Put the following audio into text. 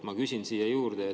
Ma küsin siia juurde.